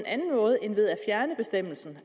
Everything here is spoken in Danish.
en ved at fjerne bestemmelsen